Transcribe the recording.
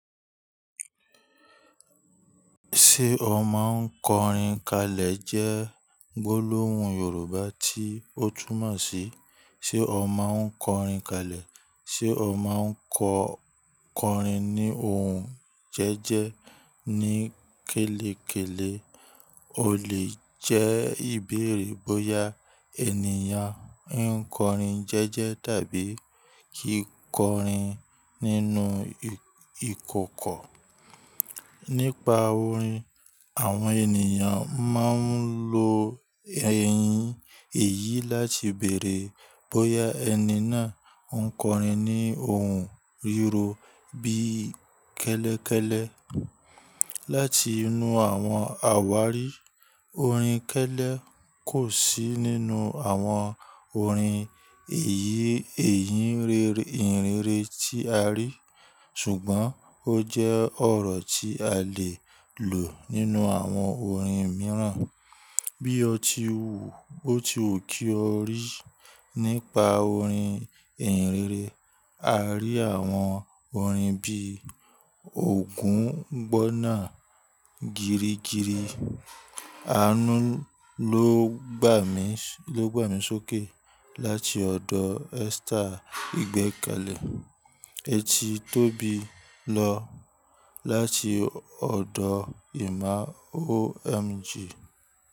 Ṣé ọ máa ń kọrin kalẹ jẹ́ gbólóhùn Yorùbá tí ó túmọ̀ sí, ṣé ọ máa ń kọrin kalẹ, ṣé ọ máa ń kọ kọrin ní ohùn jẹ́jẹ́ ní kélekèlé. Ó lè jẹ́ ìbéèrè bóyá ènìyàn ń kọrin jẹ́jẹ́ tàbí kì í kọrin nínú ìkòkò. Nípa orin, àwọn ènìyàn máa ń lo eyín èyí láti bèèrè bóyá ẹni náà ń kọrin ní ohùn ríro bí i kẹ́lẹ́kẹ́lẹ́. Láti inú àwọn àwárí, orin kẹ́lẹ́ kò sí nínú àwọn orin èyí èyín rere ìhìnrere tí a rí, ṣùgbọ́n ó jẹ́ ọ̀rọ̀ tí a lè lò nínú àwọn orin mìíràn. Bí ọ ti wù ó ti wu kí ọ rí. Nípa orin ìhìnrere, a rí àwọn orin bíi "Ògún gbọ́nà" girigiri, "Àánú ló gbà mí ló gbà mí sókè" láti ọ̀dọ Esther Igbekalẹ, "Ẹ ti tóbi lọ" láti ọ̀dọ Emma OMG.